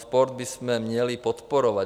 Sport bychom měli podporovat.